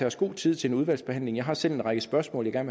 os god tid til udvalgsbehandlingen jeg har selv en række spørgsmål jeg